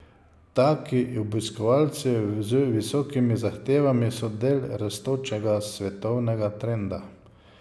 Taki obiskovalci z visokimi zahtevami so del rastočega svetovnega trenda.